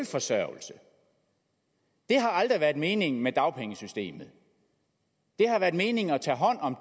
forsørgelse det har aldrig været meningen med dagpengesystemet det har været meningen at tage hånd om